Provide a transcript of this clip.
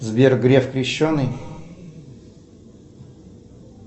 сбер греф крещеный